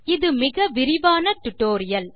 இது மிக விரிவான டியூட்டோரியல்